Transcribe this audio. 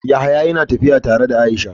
Yahaya ia trolling tare da aisha.